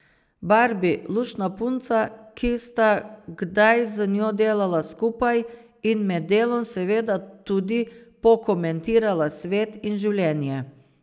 Barbi, luštna punca, ki sta kdaj z njo delala skupaj in med delom seveda tudi pokomentirala svet in življenje.